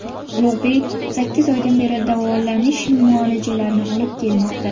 Ulug‘bek sakkiz oydan beri davolanish muolajalarini olib kelmoqda.